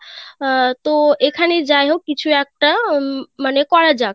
আহ তোএখানে যায় হোক কিছু একটা উম মানে করা যাক.